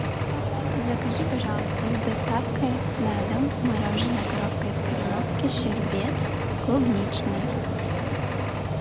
закажи пожалуйста с доставкой на дом мороженое коровка из кореновки щербет клубничный